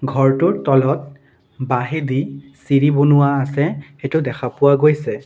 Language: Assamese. ঘৰটোৰ তলত বাহেঁদি চিৰি বনোৱা আছে সেইটো দেখা পোৱা গৈছে।